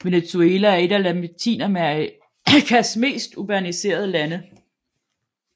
Venezuela er et af Latinamerikas mest urbaniserede lande